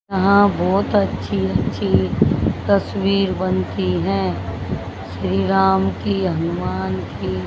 यहां बहुत अच्छी अच्छी तस्वीर बनती हैं श्री राम की हनुमान की।